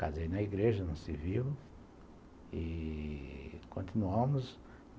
casei na igreja, no civil, e continuamos.